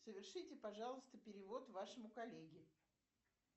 совершите пожалуйста перевод вашему коллеге